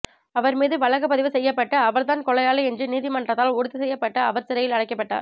அவர் மீது வழக்குப்பதிவு செய்யப்பட்டு அவர் தான் கொலையாளி என்று நீதிமன்றத்தால் உறுதி செய்யப்பட்டு அவர் சிறையில் அடைக்கப்பட்டார்